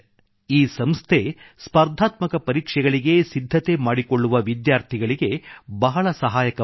ಈ ಸಂಸ್ಥೆ ಸ್ಪರ್ಧಾತ್ಮಕ ಪರೀಕ್ಷೆಗಳಿಗೆ ಸಿದ್ಧತೆ ಮಾಡಿಕೊಳ್ಳುವ ವಿದ್ಯಾರ್ಥಿಗಳಿಗೆ ಬಹಳ ಸಹಾಯಕವಾಗಿದೆ